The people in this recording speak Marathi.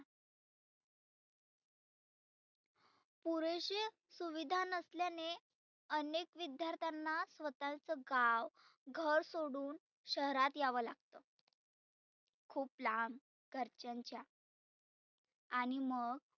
पुरेशे सुविधा नसल्याने अनेक विद्यार्थ्यांना स्वतःच गाव घर सोडुन शहरात यावं लागतं. खुप लांब घरच्यांच्या आणि मग